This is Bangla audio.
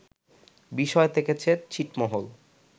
বিষয় থেকেছে ছিটমহল